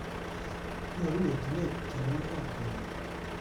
Nyoru etunet tienwogikab kenyini